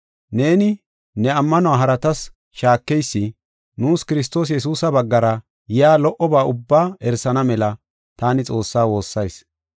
Neeni ne ammanuwa haratas shaakeysi nuus Kiristoos Yesuusa baggara yaa lo77oba ubbaa erisana mela taani Xoossaa woossayis.